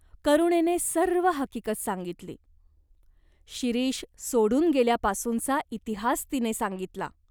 करुणेने सर्व हकीगत सांगितली. शिरीष सोडून गेल्यापासूनचा इतिहास तिने सांगितला.